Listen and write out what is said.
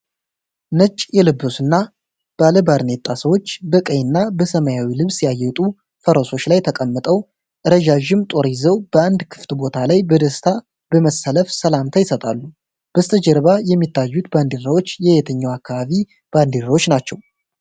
ነጭ የለበሱና ባለባርኔጣ ሰዎች፣ በቀይና በሰማያዊ ልብስ ያጌጡ ፈረሶች ላይ ተቀምጠው፣ ረዣዥም ጦር ይዘው፣ በአንድ ክፍት ቦታ ላይ በደስታ በመሰለፍ ሰላምታ ይሰጣሉ። በስተጀርባ የሚታዩት ባንዲራዎች የየትኛው አካባቢ ባንዲራዎች ናቸው?